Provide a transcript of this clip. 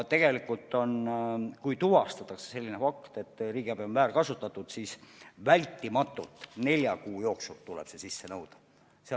Kui tuvastatakse selline fakt, et riigiabi on väärkasutatud, siis vältimatult tuleb see nelja kuu jooksul sisse nõuda.